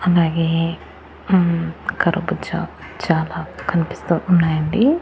అలాగే హ్మ్మ్ కరుబూజ చాలా కనిపిస్తూ ఉన్నాయి అండి.